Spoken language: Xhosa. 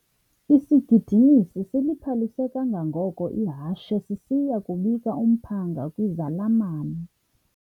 Isigidimisi siliphalise kangangoko ihashe sisiya kubika umphanga kwizalamane.